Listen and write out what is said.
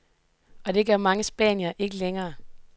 Og det gør mange spaniere ikke længere.